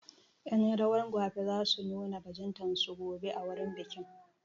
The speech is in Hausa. Ƴan rawar gwafe za su nuna bajintar su gobe a wurin bikin.